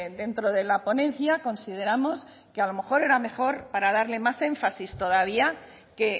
dentro de la ponencia consideramos que a lo mejor era mejor para darle más énfasis todavía que